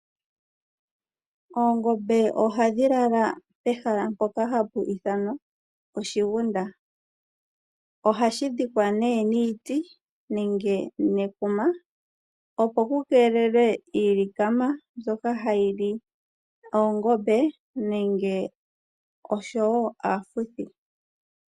Oongombe ohadhi lala pehala mpoka hapu ithanwa oshigunda. Ohashi dhikwa nee niiti nenge nekuma opo ku keelelwe iilikama mbyoka hayi li oongombe nenge osho wo aafuthi.